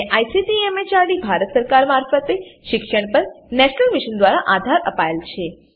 જેને ICT MHRD Bharat સરકાર મારફતે શિક્ષણ પર નેશનલ મિશન દ્વારા આધાર અપાયેલ છે